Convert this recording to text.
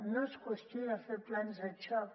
no és qüestió de fer plans de xoc